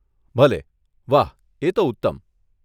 ભલે, વાહ એ તો ઉત્તમ.